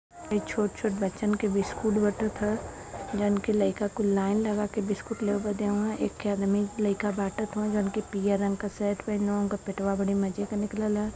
छोट छोट बच्चन बिस्कुट बटत है | जउन की लइका कुल लाइन लगा के बिस्कुट नेवल देवन एक आदमी लइका बाटत होवन जॉनकी पियर रंग का शर्ट पहन उनका पेटवा बड़े मजे का निकलल ह ।